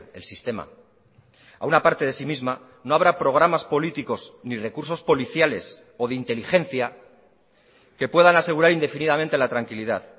el sistema a una parte de sí misma no habrá programas políticos ni recursos policiales o de inteligencia que puedan asegurar indefinidamente la tranquilidad